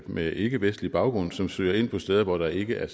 med ikkevestlig baggrund som søger ind på steder hvor der ikke er